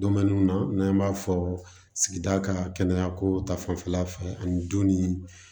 Donminiw na n'an b'a fɔ sigida ka kɛnɛya ko ta fanfɛla fɛ ani du ni